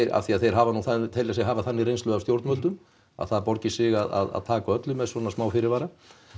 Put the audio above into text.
af því að þeir hafa nú telja sig hafa þannig reynslu af stjórnvöldum að það borgi sig að taka öllu með smá fyrirvara